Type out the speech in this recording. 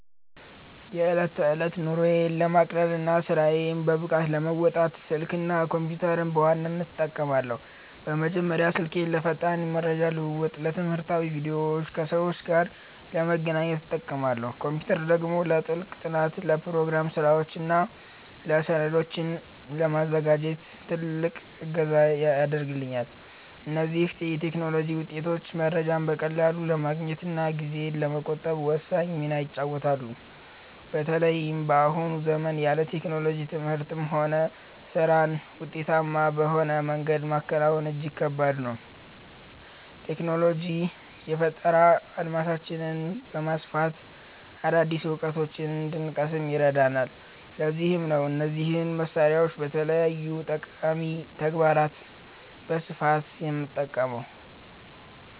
የዕለት ተዕለት ኑሮዬን ለማቅለልና ስራዬን በብቃት ለመወጣት፣ ስልክና ኮምፒተርን በዋናነት እጠቀማለሁ። በመጀመሪያ ስልኬን ለፈጣን የመረጃ ልውውጥ፣ ለትምህርታዊ ቪዲዮዎችና ከሰዎች ጋር ለመገናኛነት እጠቀማለሁ። ኮምፒተር ደግሞ ለጥልቅ ጥናት፣ ለፕሮግራም ስራዎችና ሰነዶችን ለማዘጋጀት ትልቅ እገዛ ያደርግልኛል። እነዚህ የቴክኖሎጂ ውጤቶች መረጃን በቀላሉ ለማግኘትና ጊዜን ለመቆጠብ ወሳኝ ሚና ይጫወታሉ። በተለይም በአሁኑ ዘመን ያለ ቴክኖሎጂ ትምህርትንም ሆነ ስራን ውጤታማ በሆነ መንገድ ማከናወን እጅግ ከባድ ነው። ቴክኖሎጂ የፈጠራ አድማሳችንን በማስፋት አዳዲስ እውቀቶችን እንድንቀስም ይረዳናል፤ ለዚህም ነው እነዚህን መሳሪያዎች ለተለያዩ ጠቃሚ ተግባራት በስፋት የምጠቀመው።